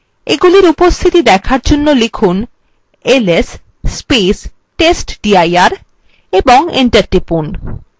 এইগুলির উপস্থিতি দেখার জন্য লিখুন ls testdir এবং enter টিপুন